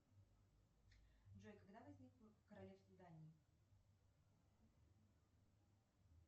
джой когда возникло королевство дании